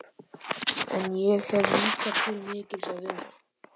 En ég hef líka til mikils að vinna.